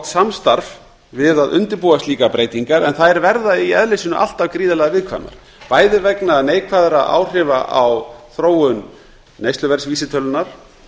samstarf við að undirbúa slíkar breytingar en þær verða í eðli sínu alltaf gríðarlega viðkvæmar bæði vegna neikvæðra áhrifa á þróun neysluverðsvísitölunnar